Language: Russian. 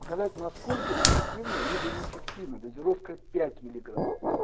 показать насколько эффективно либо неэффективна дозировка пять миллиграм